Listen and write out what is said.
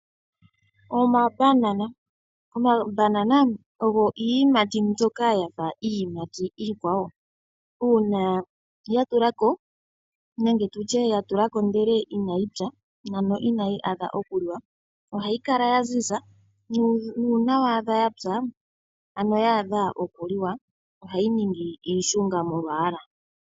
Omambanana Omambanana ogo iiyimati mbyoka yafa iiyimati iikwawo. Uuna ya tula ko nenge tutye ya tula ko ndele inayi pya ,ano inayi adha okuliwa ,ohayi kala ya ziza nuuna waadha ya pya , ano yaadha okuliwa ,ohayi ningi iishunga molwaala .